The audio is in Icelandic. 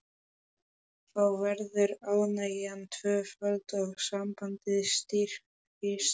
Þá verður ánægjan tvöföld og sambandið styrkist.